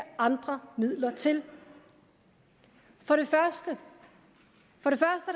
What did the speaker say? andre midler til for det første